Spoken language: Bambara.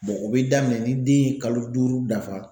o bi daminɛ ni den ye kalo duuru dafa.